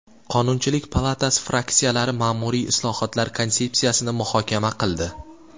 Qonunchilik palatasi fraksiyalari ma’muriy islohotlar konsepsiyasini muhokama qildi.